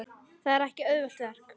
Það er ekki auðvelt verk.